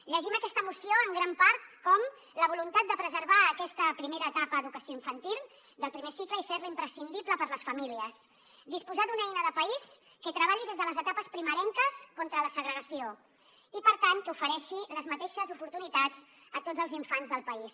llegim aquesta moció en gran part com la voluntat de preservar aquesta primera etapa a educació infantil del primer cicle i fer la imprescindible per a les famílies disposar d’una eina de país que treballi des de les etapes primerenques contra la segregació i per tant que ofereixi les mateixes oportunitats a tots els infants del país